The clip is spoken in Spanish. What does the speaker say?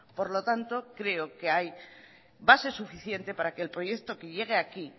por lo tanto creo que hay base suficiente para que el proyecto que llegue aquí